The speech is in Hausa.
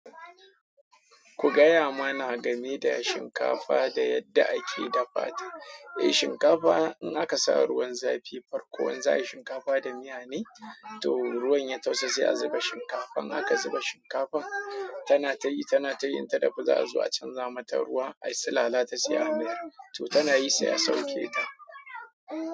Ku gaya mana game da shinkafa da yadda ake dafa ta. Eh, shinkafa in aka sa ruwan zafi farko, wanzai shinkafa da miya ne, to ruwan ya tausa sai a zuba shinkafan. Aka zuba shinkafan, tana tayi, tana tayinta da guza zuwa canza mata ruwa, ai sulala ta saya miyar, to tana yi sai a sauke ta.